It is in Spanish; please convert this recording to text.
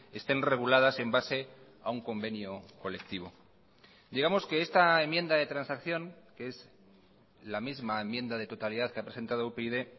estén reguladas en base a un convenio colectivo digamos que esta enmienda de transacción que es la misma enmienda de totalidad que ha presentado upyd